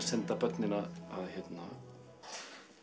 senda börnin að